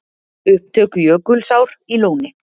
Upptök Jökulsár í Lóni.